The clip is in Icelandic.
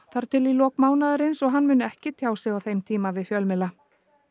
þar til í lok mánaðarins og að hann muni ekki tjá sig á þeim tíma við fjölmiðla